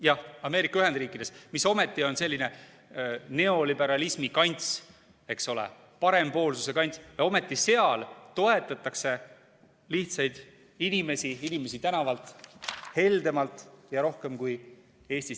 Jah, Ameerika Ühendriikides, mis ometi on selline neoliberalismi kants, eks ole, parempoolsuse kants – ja ometi seal toetatakse lihtsaid inimesi, inimesi tänavalt heldemalt ja rohkem kui Eestis.